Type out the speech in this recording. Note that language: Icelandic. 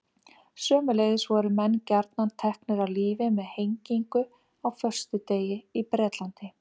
Sömuleiðis voru menn gjarnan teknir af lífi með hengingu á föstudegi í Bretlandi.